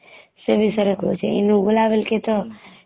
ସେ ବିଷୟରେ କହୁଛେ ଏଇ ନୁଗୁଲା ବୋଲକି ତ